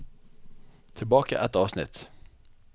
Tilbake ett avsnitt